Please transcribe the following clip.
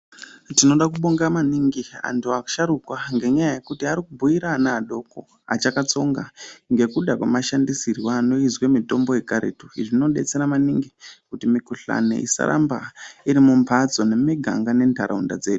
Tinoda kubonga maningi antu asharuka ngenyaya yekuti ari kubhuira ana adoko achakatsonga ngekuda kwemashandisirwo anoizwe mitombo yekaretu. Izvi zvinodetsera maningi kuti mikhuhlani isaramba iri mumphatso nemumiganga nentaraunda dzedu.